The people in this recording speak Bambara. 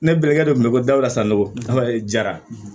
Ne balimankɛ de tun bɛ ko dala san nɔgɔyara